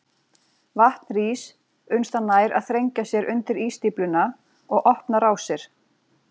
Vatn rís uns það nær að þrengja sér undir ísstífluna og opna rásir.